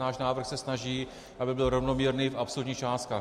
Náš návrh se snaží, aby byl rovnoměrný v absolutních částkách.